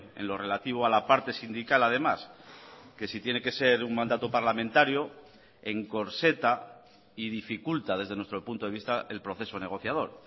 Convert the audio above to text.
en lo relativo a la parte sindical además que si tiene que ser un mandato parlamentario encorseta y dificulta desde nuestro punto de vista el proceso negociador